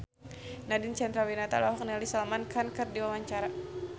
Nadine Chandrawinata olohok ningali Salman Khan keur diwawancara